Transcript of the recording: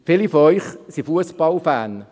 Viele von Ihnen sind Fussballfans.